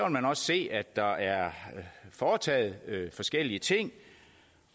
man også se at der er foretaget forskellige ting